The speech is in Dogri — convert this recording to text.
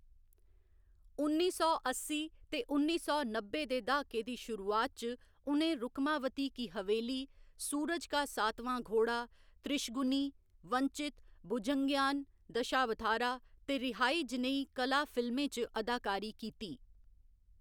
उन्नी सौ अस्सी ते उन्नी सौ नब्बै दे द्हाके दी शुरूआत च उ'नें रुक्मावती की हवेली, सूरज का सातवां घोड़ा, त्रिशगुनी, वंचित, भुजंगय्यान दशावथारा ते रिहाई जनेही कला फिल्में च अदाकारी कीती।